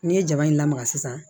N'i ye jaba in lamaga sisan